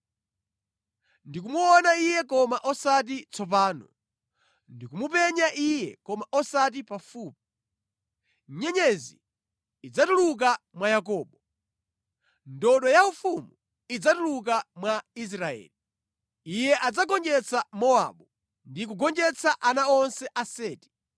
“Ndikumuona iye koma osati tsopano; ndikumupenya iye koma osati pafupi. Nyenyezi idzatuluka mwa Yakobo; ndodo yaufumu idzatuluka mwa Israeli. Iye adzagonjetsa Mowabu ndi kugonjetsa ana onse a Seti.